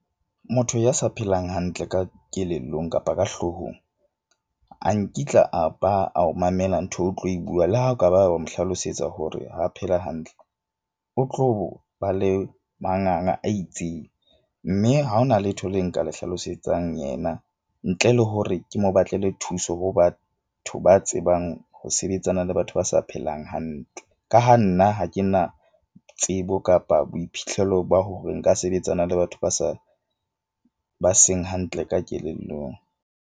Motho ya sa phelang hantle ka kelellong kapa ka hloohong a nkitla a ba a o mamela ntho eo o tlo e bua. Le ha o kaba wa mo hlalosetsa hore ha phela hantle, o tlo ba le manganga a itseng. Mme ha ho na letho le nka le hlalosetsang yena ntle le hore ke mo batlele thuso, ho batho ba tsebang ho sebetsana le batho ba sa phelang hantle. Ka ha nna ha ke na tsebo kapa boiphihlelo ba hore nka sebetsana le batho ba sa ba seng hantle ka kelellong.